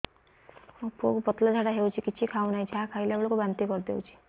ମୋ ପୁଅ କୁ ପତଳା ଝାଡ଼ା ହେଉଛି କିଛି ଖାଉ ନାହିଁ ଯାହା ଖାଇଲାବେଳକୁ ବାନ୍ତି କରି ଦେଉଛି